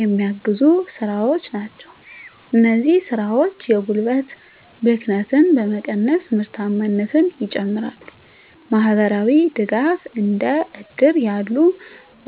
የሚያግዙ ስራዎች ናቸው። እነዚህ ስራዎች የጉልበት ብክነትን በመቀነስ ምርታማነትን ይጨምራሉ። * ማህበራዊ ድጋፍ: እንደ እድር ያሉ